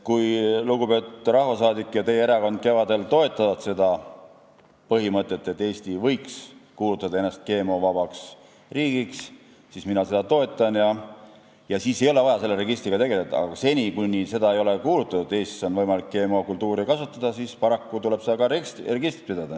Kui lugupeetud rahvasaadik ja tema erakond kevadel toetavad seda põhimõtet, et Eesti võiks kuulutada ennast GMO-vabaks riigiks, siis mina seda toetan ja siis ei ole vaja selle registriga tegeleda, aga seni, kuni seda ei ole tehtud, on Eestis võimalik GM-kultuure kasvatada ja paraku tuleb ka registrit pidada.